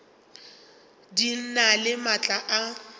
di na le maatla a